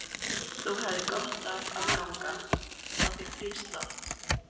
Þú hefðir gott af að ganga. fá þér frískt loft?